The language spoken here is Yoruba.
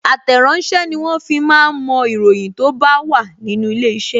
Àtẹ̀ràsẹ́ ni wọ́n fi máa ń mo ìròyìn tó bá wà nínú ilé iṣẹ́